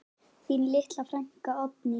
Þín litla frænka, Oddný.